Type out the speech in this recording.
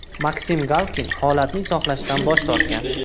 Maksim Galkin holatni izohlashdan bosh tortgan.